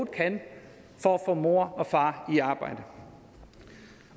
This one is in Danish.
kan for at få mor og far i arbejde